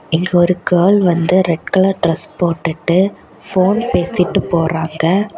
இங்க ஒரு கேர்ள் வந்து ரெட் கலர் டிரஸ் போட்டுட்டு போன் பேசிட்டு போறாங்க.